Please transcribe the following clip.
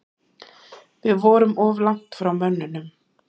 Við vorum of langt frá mönnunum.